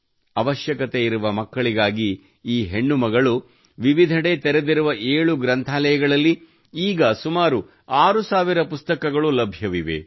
ಅವಶ್ಯಕತೆಯಿರುವ ಮಕ್ಕಳಿಗಾಗಿ ಈ ಹೆಣ್ಣು ಮಗಳು ವಿವಿಧೆಡೆ ತೆರೆದಿರುವ ಏಳು ಗ್ರಂಥಾಲಯಗಳಲ್ಲಿ ಈಗ ಸುಮಾರು 6 ಸಾವಿರ ಪುಸ್ತಕಗಳು ಲಭ್ಯವಿವೆ